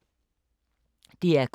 DR K